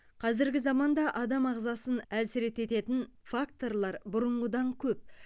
қазіргі заманда адам ағзасын әлсірететін факторлар бұрынғыдан көп